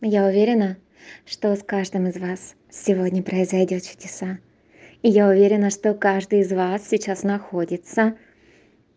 я уверена что с каждым из вас сегодня произойдёт чудеса и я уверена что каждый из вас сейчас находится